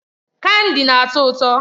Kandi na-atọ ụtọ.